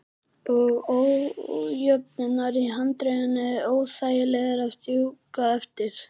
Og ójöfnurnar í handriðinu óþægilegar að strjúka eftir.